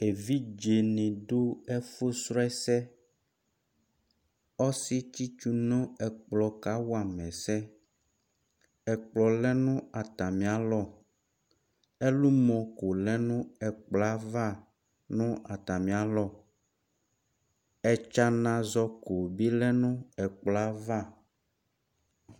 Evidzeni adu ɛfu srɔ ɛsɛ Ɔsi tsitsu nɛkplɔ kawama ɛsɛ Ɛkplɔ lɛ nu atamialɔ Ɛlumɔ ɔbu lɛ nayava Ɛtsanazɔko bi lɛ nu ɛkplɔava